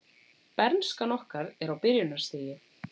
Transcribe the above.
Bernskan okkar er á byrjunarstigi.